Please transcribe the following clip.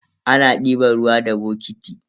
Ana diban ruwa da bokiti.